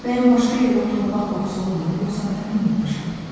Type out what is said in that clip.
Bəyən başqa yerdə torpaq qoxusu olmur, yoxsa mən duymamışam?